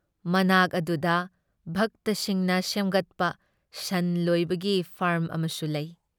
ꯃꯅꯥꯛ ꯑꯗꯨꯗ ꯚꯛꯇꯁꯤꯡꯅ ꯁꯦꯝꯒꯠꯄ ꯁꯟ ꯂꯣꯏꯕꯒꯤ ꯐꯥꯔꯝ ꯑꯃꯁꯨ ꯂꯩ ꯫